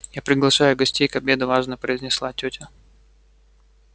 я приглашаю гостей к обеду важно произнесла тётя